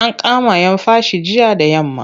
An kama'yan fashi jiya da yamma.